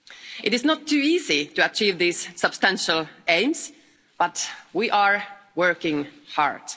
It is not too easy to achieve these substantial aims, but we are working hard.